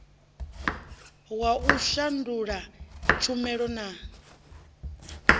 wa u shandula tshumela na